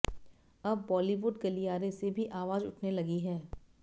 अब बॉलीवुड गलियारे से भी अवाज उठने लगी है